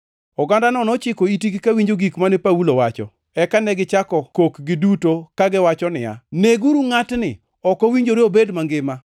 Ogandano nochiko itgi kawinjo gik mane Paulo wacho, eka negichako kok giduto kagiwacho niya, “Neguru ngʼatni! Ok owinjore obed mangima!”